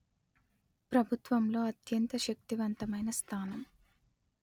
ప్రభుత్వంలో అత్యంత శక్తివంతమైన స్థానం